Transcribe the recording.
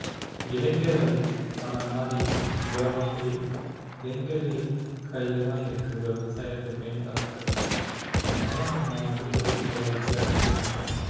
இளைஞர்கள் நம்மளை மாதிரி உங்களை மாதிரி இளைஞர்கள் கையில தான் இருக்கு விவசாயத்தை பேணி காக்குறது. என்ன தான் நம்ம வந்து தொழில்நுட்ப வளர்ச்சி அடைஞ்சிருந்தாலும்